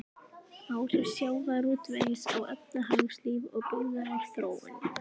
Áhrif sjávarútvegs á efnahagslíf og byggðaþróun.